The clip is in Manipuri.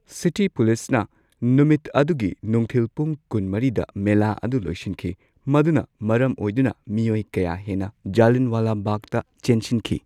ꯁꯤꯇꯤ ꯄꯨꯂꯤꯁꯅ ꯅꯨꯃꯤꯠ ꯑꯗꯨꯒꯤ ꯅꯨꯡꯊꯤꯜ ꯄꯨꯡ ꯀꯨꯟꯃꯔꯤꯗ ꯃꯦꯂꯥ ꯑꯗꯨ ꯂꯣꯏꯁꯤꯟꯈꯤ, ꯃꯗꯨꯅ ꯃꯔꯝ ꯑꯣꯏꯗꯨꯅ ꯃꯤꯑꯣꯏ ꯀꯌꯥ ꯍꯦꯟꯅ ꯖꯂꯤꯌꯥꯟꯋꯥꯂꯥ ꯕꯥꯒꯇ ꯆꯦꯟꯁꯤꯟꯈꯤ꯫